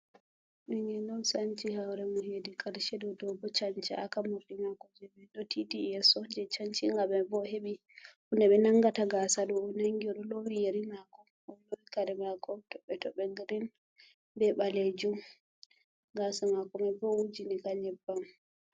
Ɓingel on sanci hoore mum, heedi karshe ɗo. Dow bo chancaaka, morɗi maako jebe ɗo tiiti yeeso, je chanci nga mai bo, o heɓi hunde ɓe nangata gaasa ɗo o nangi. Oɗo loowi yeri maako. Kare mako toɓɓe-toɓɓe girin bee ɓalejum. Gaasa maako mai bo o wujini ka nƴebbam.